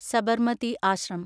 Sabarmati ashram